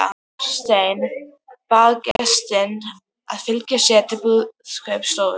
Marteinn bað gestinn að fylgja sér til biskupsstofu.